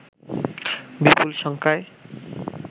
বিপুল সংখ্যায়